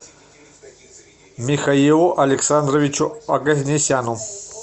михаилу александровичу оганесяну